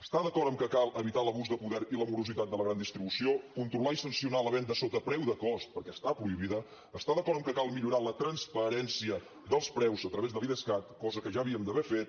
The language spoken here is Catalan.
està d’acord amb que cal evitar l’abús de poder i la morositat de la gran distribució controlar i sancionar la venda sota preu de cost perquè està prohibida està d’acord amb que cal millorar la transparència dels preus a través de l’idescat cosa que ja havíem d’haver fet